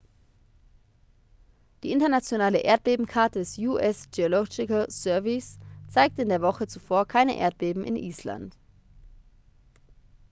die internationale erdbebenkarte des us geological surveys zeigte in der woche zuvor keine erdbeben in island